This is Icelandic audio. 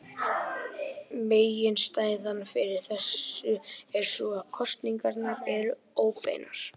Meginástæðan fyrir þessu er sú að kosningarnar eru óbeinar.